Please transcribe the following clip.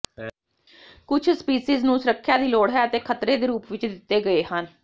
ਕੁਝ ਸਪੀਸੀਜ਼ ਨੂੰ ਸੁਰੱਖਿਆ ਦੀ ਲੋੜ ਹੈ ਅਤੇ ਖ਼ਤਰੇ ਦੇ ਰੂਪ ਵਿੱਚ ਦਿੱਤੇ ਗਏ ਹਨ